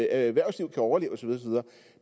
erhvervsliv kan overleve og så videre